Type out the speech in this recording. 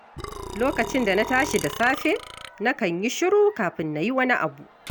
Lokacin da na tashi da safe, nakan yi shiru kafin na yi wani abu.